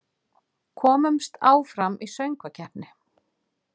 Komust áfram í söngvakeppni